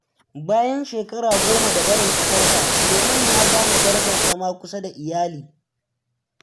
Bayan shekara goma da barin kasarsa, Suleman ya gane darajar zama kusa da iyali.